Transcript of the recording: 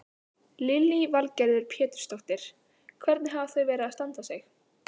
Lillý Valgerður Pétursdóttir: Hvernig hafa þau verið að standa sig?